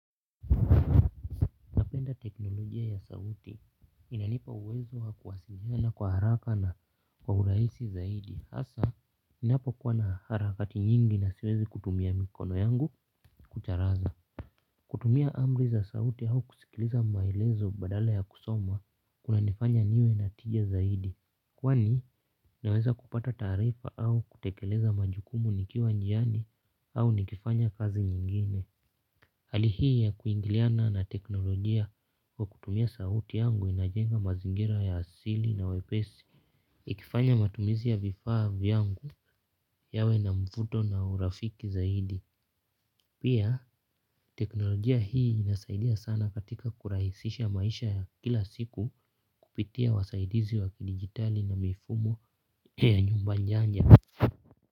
Teknolojia ya sauti inanipa uwezo kuwasilina kwa haraka na kwa urahisi zaidi hasa ninapo kuwa na harakati nyingi na siwezi kutumia mikono yangu kucharaza. Kutumia amri za sauti au kusikiliza maelezo badala ya kusoma kuna nifanya niwe na tija zaidi. Kwani naweza kupata taarifa au kutekeleza majukumu nikiwa njiani au nikifanya kazi nyingine. Hali hii ya kuingiliana na teknolojia kwa kutumia sauti yangu inajenga mazingira ya asili na wepesi. Ikifanya matumizi ya vifaa vyangu yawe na mvuto na urafiki zaidi. Pia teknolojia hii inasaidia sana katika kurahisisha maisha ya kila siku kupitia wasaidizi wa kidigitali na mifumo ya nyumba njanya.